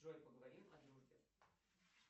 джой поговорим о дружбе